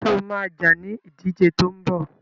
Sọ ma jà ní ìdíje tó ń bọ̀?